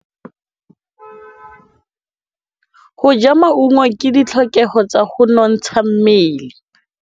Go ja maungo ke ditlhokegô tsa go nontsha mmele.